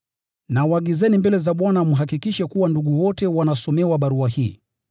Nawaagizeni mbele za Bwana mhakikishe kuwa ndugu wote wanasomewa barua hii.